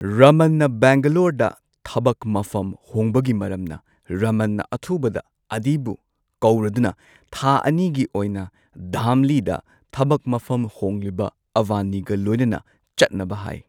ꯔꯃꯟꯅ ꯕꯦꯡꯒꯂꯣꯔꯗ ꯊꯕꯛ ꯃꯐꯝ ꯍꯣꯡꯕꯒꯤ ꯃꯔꯝꯅ ꯔꯃꯟꯅ ꯑꯊꯨꯕꯗ ꯑꯥꯗꯤꯕꯨ ꯀꯧꯔꯗꯨꯅ ꯊꯥ ꯑꯅꯤꯒꯤ ꯑꯣꯏꯅ ꯙꯥꯝꯂꯤꯗ ꯊꯕꯛ ꯃꯐꯝ ꯍꯣꯡꯂꯤꯕ ꯑꯚꯅꯤꯒ ꯂꯣꯏꯅꯅ ꯆꯠꯅꯕ ꯍꯥꯏ꯫